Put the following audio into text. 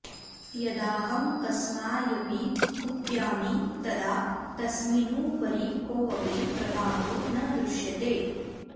यदाहं कस्मायपि कुप्यामि तदा तस्मिनुपरि कोऽपि प्रभावो न दृश्यते